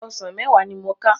Òsán mèwá ni mó ká